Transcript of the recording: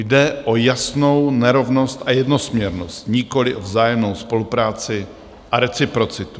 Jde o jasnou nerovnost a jednosměrnost, nikoli o vzájemnou spolupráci a reciprocitu.